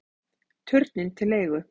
Turninn til leigu